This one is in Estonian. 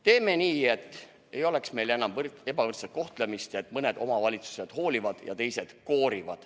Teeme nii, et meil ei oleks enam ebavõrdset kohtlemist, et mõni omavalitsus hoolib ja teine koorib.